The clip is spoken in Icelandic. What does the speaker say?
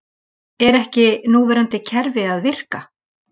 Er ekki núverandi kerfi að virka?